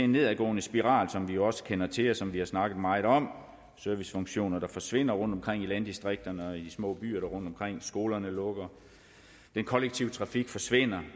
nedadgående spiral som vi også kender til og som vi har snakket meget om servicefunktioner forsvinder rundtomkring i landdistrikterne og i de små byer rundtomkring skolerne lukker den kollektive trafik forsvinder